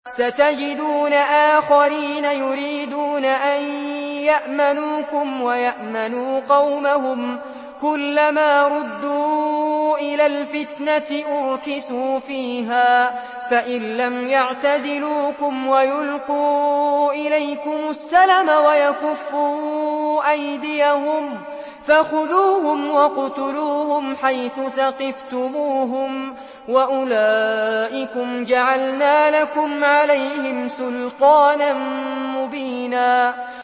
سَتَجِدُونَ آخَرِينَ يُرِيدُونَ أَن يَأْمَنُوكُمْ وَيَأْمَنُوا قَوْمَهُمْ كُلَّ مَا رُدُّوا إِلَى الْفِتْنَةِ أُرْكِسُوا فِيهَا ۚ فَإِن لَّمْ يَعْتَزِلُوكُمْ وَيُلْقُوا إِلَيْكُمُ السَّلَمَ وَيَكُفُّوا أَيْدِيَهُمْ فَخُذُوهُمْ وَاقْتُلُوهُمْ حَيْثُ ثَقِفْتُمُوهُمْ ۚ وَأُولَٰئِكُمْ جَعَلْنَا لَكُمْ عَلَيْهِمْ سُلْطَانًا مُّبِينًا